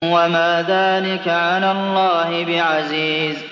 وَمَا ذَٰلِكَ عَلَى اللَّهِ بِعَزِيزٍ